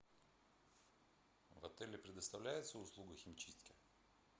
в отеле предоставляется услуга химчистки